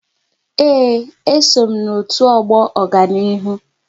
Ee, e so m n'otu ọgbọ Ọganihu